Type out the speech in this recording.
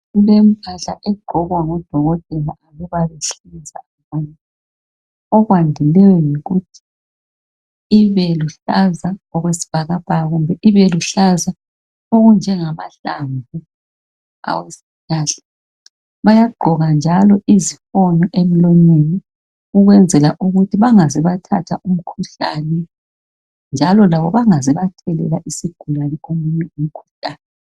Limpahla egqokwa ngodokotela. Mina bayangiphica mani. Okwandileyo yikuthi ibeluhlaza okwesibhakabhaka, kumbe ibeluhlaza okunjengamahlamvu aweziihlahla. Bayagqoka njalo izifonqo emlonyeni, ukwenzela ukuthi bangaze bathatha umkhuhlane. Njalo labo bangaze bathelela isigulane, omunye umkhuhlane.